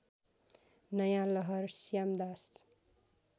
नयाँ लहर श्यामदास